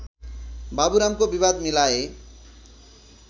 बाबुरामको विवाद मिलाए